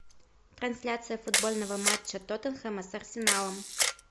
трансляция футбольного матча тоттенхэма с арсеналом